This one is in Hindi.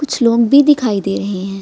कुछ लोग भी दिखाई दे रहे हैं |